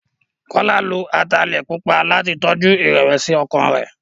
Kọ́lá lo ataalẹ̀ pupa láti tọjú ìrẹ̀wẹ̀sí-ọkàn rẹ̀.